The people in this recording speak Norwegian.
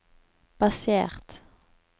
basert